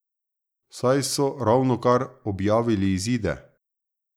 Saj so ravnokar objavili izide.